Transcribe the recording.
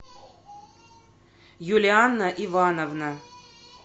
юлианна ивановна